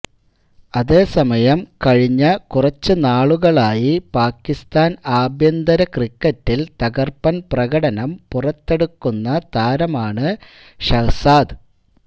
അതേ സമയം കഴിഞ്ഞ കുറച്ച് നാളുകളായി പാകിസ്ഥാൻ അഭ്യന്തര ക്രിക്കറ്റിൽ തകർപ്പൻപ്രകടനം പുറത്തെടുക്കുന്ന താരമാണ് ഷഹ്സാദ്